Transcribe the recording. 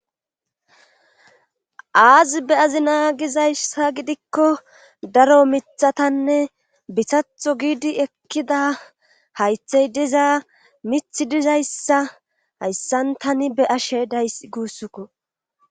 aazi be azi naagizayssa gidikko daro mithatanne bisatho giidi ekkida haythey diza mithi dizayssa hayssan tani be ashe days guussukko